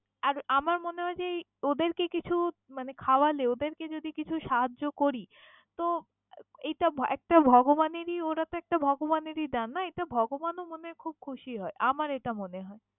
আর আমার মনে হয় যে এই ওদেরকে কিছু মানে খাওয়ালে যদি ওদেরকে কিছু সাহায্য করি তো এইটা একটা ভগবানেরী ওরা তো একটা ভগবানেরই দান না এটা ভগবানও মনে হয় খুব খুশি হয় আমার এটা মনে হয়।